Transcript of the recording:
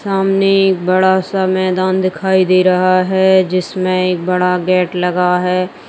सामने एक बड़ा -सा मैदान दिखाई दे रहा है जिसमें एक बड़ा गेट लगा हैं।